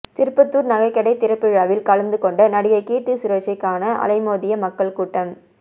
திருப்பத்தூர் நகைக்கடை திறப்பு விழாவில் கலந்து கொண்ட நடிகை கீர்த்தி சுரேஷை காண அலைமோதிய மக்கள் கூட்டம்